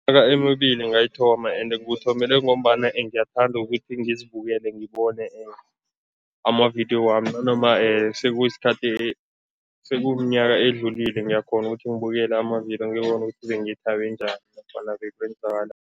Emibili ngayithoma ende ngiwuthomele ngombana ngiyathanda ukuthi ngizibukele ngibone amavidiyo wami nanoma sekuyisikhathi sekumnyaka edlulile ngiyakghona ukuthi ngibukele amavidiyo ngibone ukuthi bengithabe njani nofana